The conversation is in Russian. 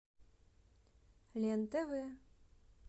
лен тв